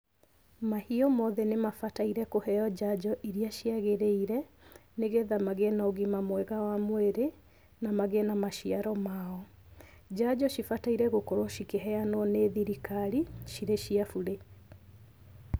Mahiũ mothe nĩ mabataire kũheo njanjo iria ciagĩrĩire nĩ getha magĩe na ũgima mwega wa mwĩrĩ na magĩe na maciaro mao. Njanjo cibataire gũkorwo cikĩheanwo nĩ thirikari cirĩ cia burĩ.